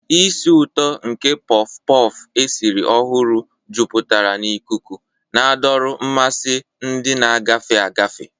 Isii ụtọ nke porff-porff esiri ọhụrụ jupụtara n'ikuku, na-adọrọ mmasị ndị na-agafe agafe.